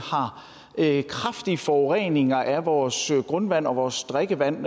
har kraftig forurening af vores grundvand og vores drikkevand